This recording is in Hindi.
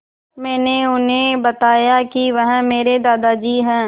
मैंने उन्हें बताया कि वह मेरे दादाजी हैं